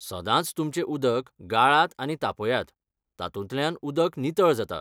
सदांच तुमचें उदक गाळात आनी तापयात, तातूंतल्यान उदक नितळ जाता.